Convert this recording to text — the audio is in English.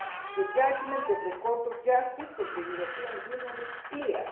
The judgment of the Court of Justice of the European Union is clear.